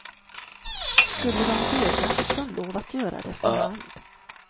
Skulle de döda fick de lov att göra det för hand.